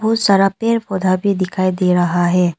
बहुत सारा पेड़ पौधा भी दिखाई दे रहा है।